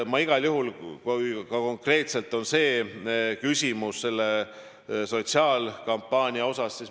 Konkreetselt küsimus on selle kampaania kohta.